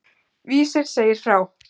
Vísir segir frá.